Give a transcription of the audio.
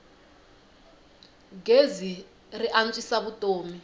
gezi ri antswisa vutomi